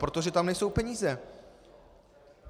Protože tam nejsou peníze!